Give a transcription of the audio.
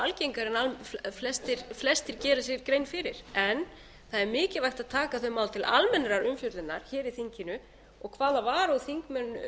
algengari en flestir gera sér grein fyrir en það er mikilvægt að taka þau mál til almennrar umfjöllunar í þinginu og hvaða varúð þingmenn